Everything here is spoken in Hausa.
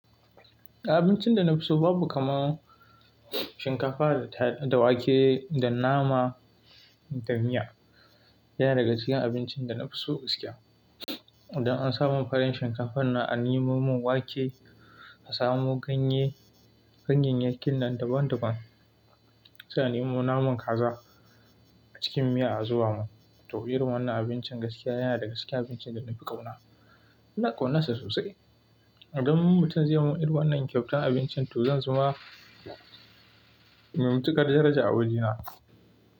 Abincin da na fi so babu kamar shinkafa da wake da nama da miya. Yana daga cikin abincin da na fi so gaskiya. Idan an samu farin shinkafan nan a nemo min wake, ka samu ganye, ganyayyakin nan daban daban, sai a nemo naman kaza a cikin miya a zuba mun. To irin wannan abincin gaskiya yana daga cikin abincin da na fi ƙauna. Ina ƙaunarsa sosai. Idan mutum zai yi min irin wannan kyautan abinci to zan suma mai matukar daraja a wajena.